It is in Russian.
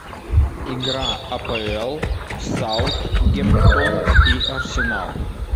игра апл саутгемптон и арсенал